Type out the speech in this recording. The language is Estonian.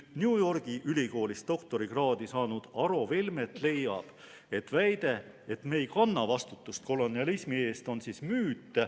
New Yorgi Ülikoolis doktorikraadi saanud Aro Velmet leiab, et väide, et me ei kanna vastutust kolonialismi eest, on müüt.